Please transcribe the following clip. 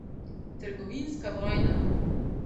Trgovinska vojna.